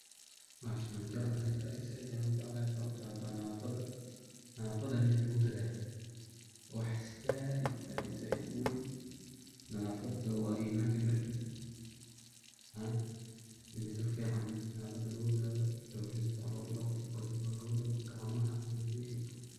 Bahashan waan jeclahay sait ayaan ujeclahay, sababto ah waa nadafada, nadafadana in lagu dadaalo waa wax sait sait uweyn, nadafada waa imaanka barkiisa, in si fican nadafada loogu dadaalo, lugaha si fican loogu daqo, dulka si fican loogu daqo, gacmaha haba sheegin.